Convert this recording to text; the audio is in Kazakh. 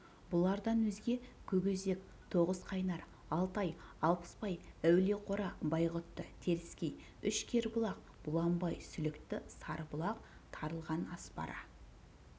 бұлардан өзге көкөзек тоғызқайнар алтай алпысбай әулиеқора байғұтты теріскей үш кербұлақ бұланбай сүлікті сарыбұлақ тарылған аспара